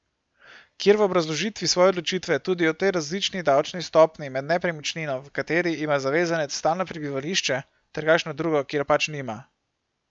Kjer v obrazložitvi svoje odločitve tudi o tej različni davčni stopnji med nepremičnino, v kateri ima zavezanec stalno prebivališče, ter kakšno drugo, kjer pač nima.